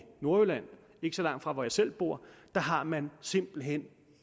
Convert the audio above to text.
nordjylland ikke så langt fra hvor jeg selv bor har man simpelt hen